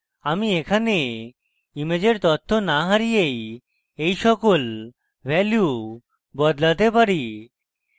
আমি এখানে ইমেজের তথ্য না হারিয়েই এই সকল ভ্যালু বদলাতে পারি